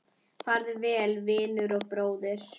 Farðu vel, vinur og bróðir!